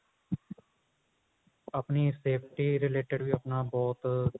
ਆਪਣੀ safety related ਵੀ ਆਪਣਾ ਬਹੁਤ